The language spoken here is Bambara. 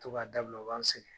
To ka dabila, o b'an sɛgɛn.